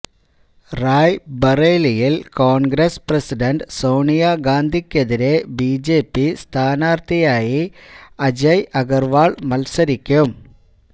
റായ് ബറേലിയില് കോണ്ഗ്രസ് പ്രസിഡന്റ് സോണിയ ഗാന്ധിക്കെതിരെ ബിജെപി സ്ഥാനാര്ഥിയായി അജയ് അഗര്വാള് മത്സരിക്കും